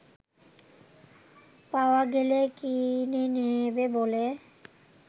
পাওয়া গেলে কিনে নেবে বলে